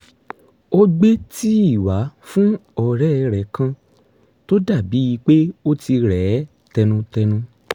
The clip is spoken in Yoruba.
ó gbé tíì wá fún ọ̀rẹ́ rẹ̀ kan tó dà bíi pé ó ti rẹ̀ ẹ́ tẹnutẹnu